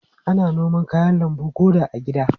Ana noma kayan lambu ko da a gida.